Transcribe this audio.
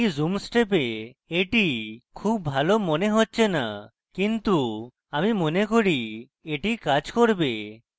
এই zoom step এটি খুব ভালো মনে হচ্ছে না কিন্তু আমি মনে করি এটি কাজ করবে